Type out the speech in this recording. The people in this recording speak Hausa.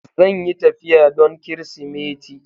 Zan yi tafiya don Kirsimeti.